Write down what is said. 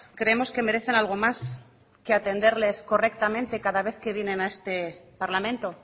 creemos que merecen algo más que atenderles correctamente cada vez que vienena este parlamento